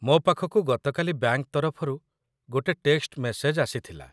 ମୋ ପାଖକୁ ଗତକାଲି ବ୍ୟାଙ୍କ ତରଫରୁ ଗୋଟେ ଟେକ୍ସଟ ମେସେଜ ଆସିଥିଲା